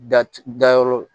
Da c dayɔrɔ